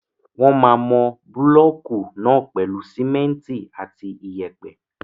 Wọ́n máa mọ búlọ̀kù náà pèlú simẹ́ntì àti iyẹ̀pẹ̀.